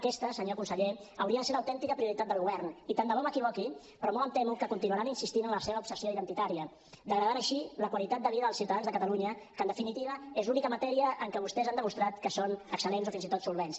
aquesta senyor conseller hauria de ser l’autèntica prioritat del govern i tant de bo m’equivoqui però molt em temo que continuaran insistint en la seva obsessió identitària degradant així la qualitat de vida dels ciutadans de catalunya que en definitiva és l’única matèria en què vostès han demostrat que són excellents o fins i tot solvents